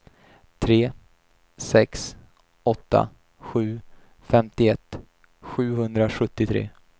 tre sex åtta sju femtioett sjuhundrasjuttiotre